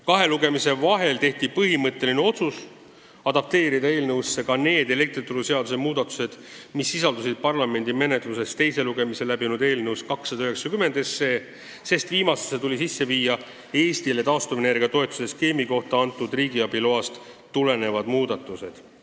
Kahe lugemise vahel tehti põhimõtteline otsus lülitada eelnõusse ka need elektrituruseaduse muudatused, mis sisaldusid parlamendi menetluses teise lugemise läbinud eelnõus 290, sest viimasesse tuli teha Eestile taastuvenergia toetuse skeemi kasutamiseks antud riigiabi loast tulenevad muudatused.